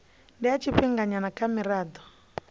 ndi ya tshifhinganyana kha mirado